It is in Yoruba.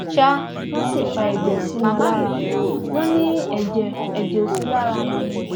ṣá wọn sì fa ẹjẹ sí wọn lára wọn ni ẹjẹ ẹjẹ ò sí lára wọn ni